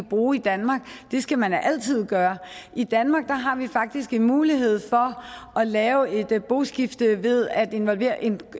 bruge i danmark det skal man da altid gøre i danmark har vi faktisk en mulighed for at lave et boskifte ved at involvere en